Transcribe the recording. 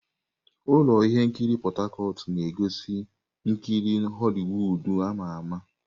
Ụlọ ihe nkiri Port Harcourt na-egosi ihe nkiri Holiwud ama ama.